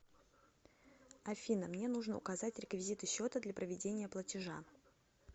афина мне нужно указать реквизиты счета для проведения платежа